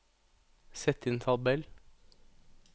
sett inn tabell